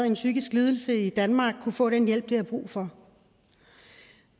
en psykisk lidelse i danmark kunne få den hjælp de har brug for